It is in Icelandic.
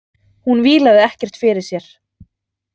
Hún vílaði ekkert fyrir sér.